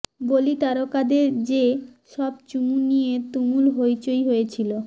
বলি তারকাদের যে সব চুমু নিয়ে তুমুল হইচই হয়েছিল